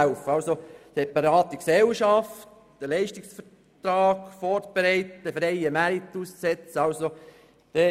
Dem Vorstoss zufolge soll eine separate Gesellschaft ausgegliedert, ein Leistungsvertrag vorbereitet werden und der freie Markt zum Tragen kommen.